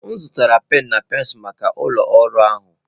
M zụtara penụ na pensụl maka ụlọ ọrụ ahụ